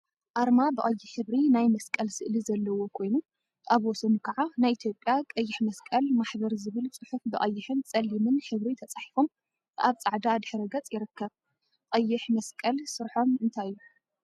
አርማ ብቀይሕ ሕብሪ ናይ መስቀል ስእሊ ዘለዎ ኮይኑ አብ ወሰኑ ከዓ ናይ ኢትዮጵያ ቀይሕ መስቀል ማሕበር ዝብል ፅሑፍ ብቀይሕን ፀሊምን ሕብሪ ተፃሒፎም አብ ፃዕዳ ድሕረ ገጽ ይርከብ፡፡ ቀይሕ መስቀል ስርሖም እንታይ እዩ?